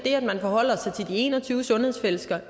forholde sig til de en og tyve sundhedsfællesskaber